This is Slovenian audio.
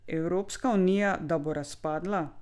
Evropska unija da bo razpadla?